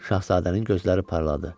Şahzadənin gözləri parladı.